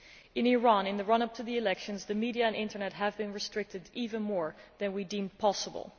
In Iran, in the run up to the elections, the media and internet have been restricted even more than we deemed possible.